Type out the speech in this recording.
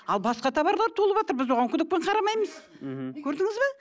ал басқа товарлар толыватыр біз оған күдікпен қарамаймыз көрдіңіз бе